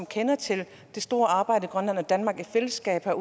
kender til det store arbejde grønland og danmark i fællesskab har